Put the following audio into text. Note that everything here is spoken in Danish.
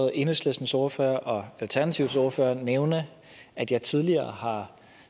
enhedslistens ordfører og alternativets ordfører nævne at jeg tidligere har